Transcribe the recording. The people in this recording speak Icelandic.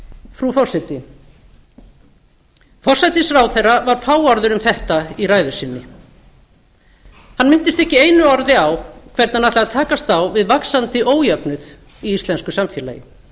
frú forseti forsætisráðherra var fáorður um þetta í ræðu sinni hann minntist ekki einu orði á hvernig hann ætlaði að takast á við vaxandi ójöfnuð í íslensku samfélagi